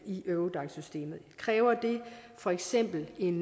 i eurodac systemet kræver det for eksempel en